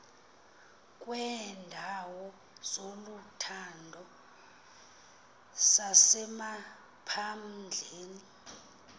kweendawo zokuhlala zasemaphandleni